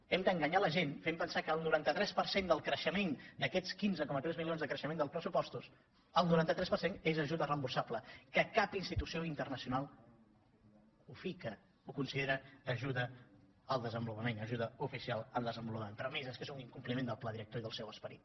hem d’enganyar la gent fent pen sar que el noranta tres per cent del creixement d’aquests quinze coma tres milions de creixement dels pressupostos el noranta tres per cent és ajuda reemborsable que cap institució internacional ho fica ho considera ajuda al desenvolupament ajuda oficial al desenvolupament però a més és que és un incompliment del pla director i del seu esperit